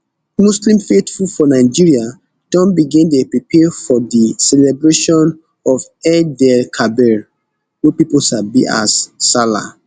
muslim faithful for nigeria don begin dey prepare for di celebration of eidelkabir wey pipo sabi as sallah